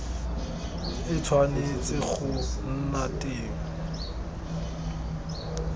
e tshwanetse go nna teng